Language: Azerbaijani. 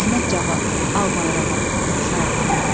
Əhməd Cavad, Al bayrağa, ixtisarən.